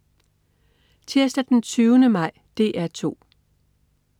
Tirsdag den 20. maj - DR 2: